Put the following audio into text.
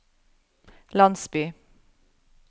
landsby